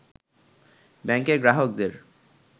ব্যাংকের গ্রাহকদের